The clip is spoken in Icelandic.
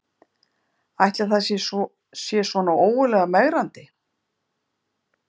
Ætli það sé svona ógurlega megrandi